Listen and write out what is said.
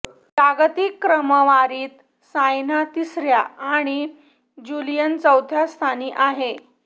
जागतिक क्रमवारीत सायना तिसऱ्या आणि ज्युलियन चौथ्या स्थानी आहे